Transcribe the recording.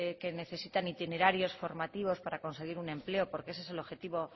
que necesitan itinerarios formativos para conseguir un empleo porque ese es el objetivo